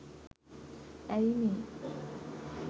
ඇයි මේ